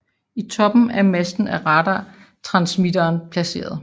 I toppen af masten er radartransmitteren placeret